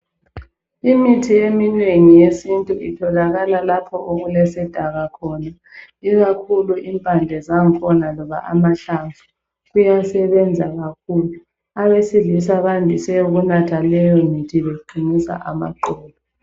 Imithi eminengi yesintu itholakala lapho okulesidaka khona, ikakhulu impande zangkhona loba amahlamvu, kuyasebenza kakhulu. Abesilisa bandise ukunatha leyomithi beqinisa amaqolo.